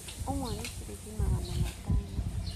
Ũmwe nĩ ciringi magana matano.